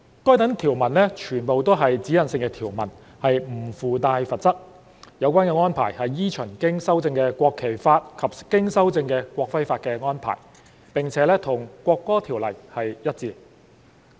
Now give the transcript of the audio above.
該等條文全為指引性條文，不附帶罰則，有關安排依循經修正的《國旗法》及經修正的《國徽法》的安排，並與《國歌條例》一致。